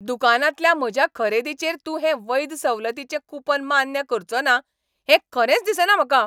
दुकानांतल्या म्हज्या खरेदीचेर तूं हें वैध सवलतीचें कूपन मान्य करचोना हें खरेंच दिसना म्हाका.